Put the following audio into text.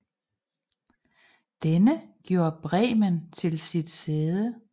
Denne gjorde Bremen til sit sæde